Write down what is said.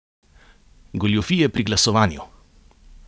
Goljufije pri glasovanju!